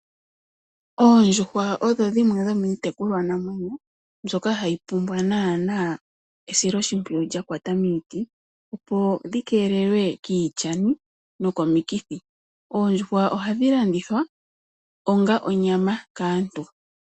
Oondjuhwa odho dhimwe dhomiitekulwanamwneyo mbyoka hayi pumbwa naanaa esiloshimpwiyu lya kwata miiti, opo dhi keelelwe kiilyani nokomikithi. Oondjuhwa ohadhi landithwa onga onyama kaantu.